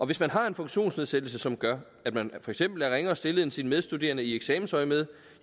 hvis man har en funktionsnedsættelse som gør at man for eksempel er ringere stillet end sine medstuderende i eksamensøjemed